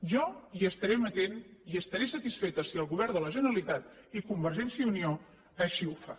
jo hi estaré amatent i estaré satisfeta si el govern de la generalitat i convergència i unió així ho fan